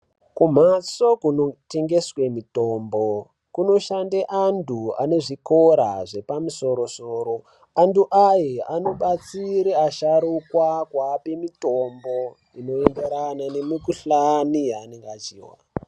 Kumhatso kunotengeswe mitombo kunoshande antu anezvikora zvepamusoro-soro. Antu aye anobatsire asharuka kuape mutombo inoenderane nemikuhlani yanonga achihwa.